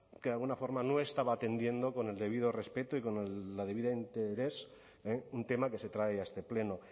que de alguna forma no estaba atendiendo con el debido respeto y con el debido interés un tema que se trae a este pleno